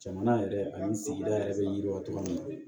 Jamana yɛrɛ ani sigida yɛrɛ bɛ yiriwa togo min na